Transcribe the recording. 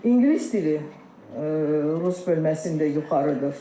İngilis dili rus bölməsində yuxarıdır.